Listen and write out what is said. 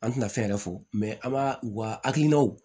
An tɛna fɛn yɛrɛ fɔ an b'a u ka hakilinaw